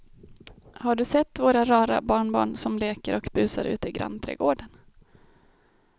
Har du sett våra rara barnbarn som leker och busar ute i grannträdgården!